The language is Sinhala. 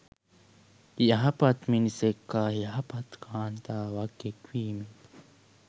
යහපත් මිනිසෙක් හා යහපත් කාන්තාවක් එක් වීමෙන්